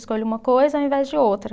Escolho uma coisa ao invés de outra.